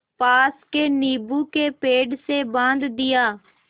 पास के नीबू के पेड़ से बाँध दिया